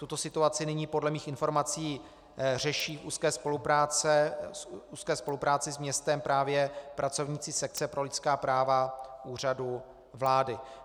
Tuto situaci nyní podle mých informací řeší v úzké spolupráci s městem právě pracovníci sekce pro lidská práva Úřadu vlády.